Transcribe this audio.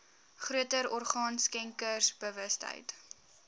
groter orgaan skenkersbewustheid